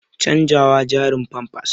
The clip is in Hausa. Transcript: canjawa jaririn famfas